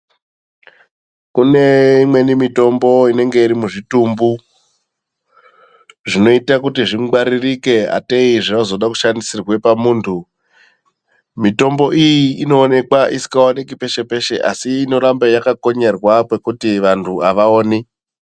Kune imweni mitombo inenge iri muzvitumbu zvinoita zvingwaririkw ngatei zvinoda kushandisirwa pamuntu mitombo iyi Inoshandiswa peshe peshe asi inoramba yakakomyerwa pekuti vantu avaoni.